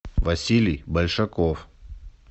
василий большаков